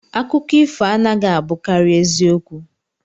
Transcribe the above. Akụkọ ifo anaghị abụkarị ezi okwu